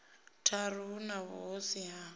tharu hu na vhuhosi ha